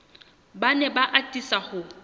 ba ne ba atisa ho